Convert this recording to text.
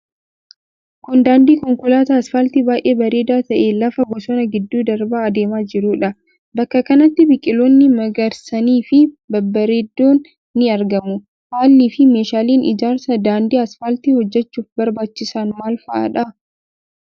Kun, daandii konkolaataa asfaaltii baay'ee bareedaa ta'e lafa bosonaa gidduu darbaa adeemaa jiruu dha. Bakka kanatti biqiloonni magariisni fi babbareedoon ni argamu. Haalli fi meeshaaleen ijaarsaa daandii asfaaltii hojjachuuf barbaachisan maal faa dha?